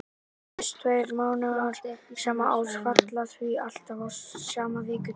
Þessir tveir mánaðardagar sama árs falla því alltaf á sama vikudag.